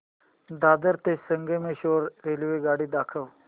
दादर ते संगमेश्वर रेल्वेगाडी दाखव